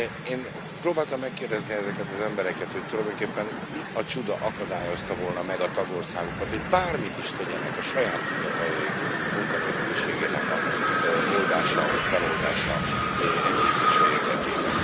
Én próbáltam megkérdezni ezeket az embereket, hogy tulajdonképpen mi a csuda akadályozta volna meg a tagországokat, hogy bármit is tegyenek a saját fiataljaik munkanélküliségének az oldása vagy feloldása, enyhítése érdekében?